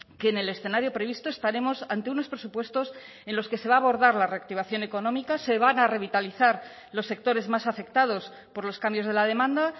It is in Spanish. que en el escenario previsto estaremos ante unos presupuestos en los que se va a abordar la reactivación económica se van a revitalizar los sectores más afectados por los cambios de la demanda